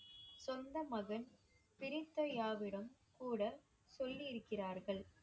சொந்த மகன் கூடச் சொல்லி இருக்கிறார்கள்.